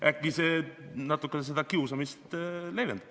Võib-olla see natukene seda kiusamist leevendab.